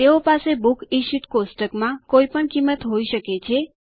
તેઓ પાસે books issued કોષ્ટકમાં કોઈપણ કિંમત હોય શકે છે